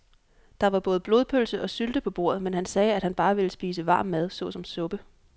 Der var både blodpølse og sylte på bordet, men han sagde, at han bare ville spise varm mad såsom suppe.